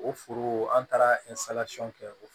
O foro an taara kɛ o